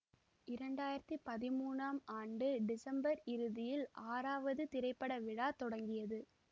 இரண்டு ஆயிரத்தி பதிமூனாம் ஆண்டு டிசம்பர் இறுதியில் ஆறாவது திரைப்பட விழா தொடங்கியது